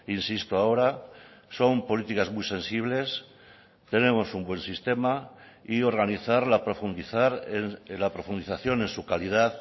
insisto ahora son políticas muy sensibles tenemos un buen sistema y organizarla profundizar la profundización en su calidad